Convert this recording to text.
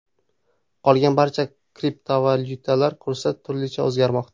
Qolgan barcha kriptovalyutalar kursi turlicha o‘zgarmoqda.